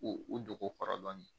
U u dogo kɔrɔ dɔɔnin